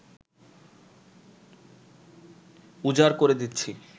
উজাড় করে দিচ্ছি